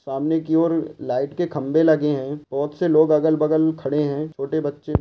सामने की ओर लाइट के खंबे लगे हैं बहुत से लोग अगल - बगल खड़े हैं छोटे बच्चे --